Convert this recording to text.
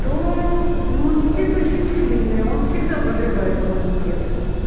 то иммунитет очень сильный он всегда подрывает иммунитет